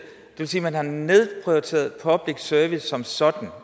vil sige at man har nedprioriteret public service produktionen som sådan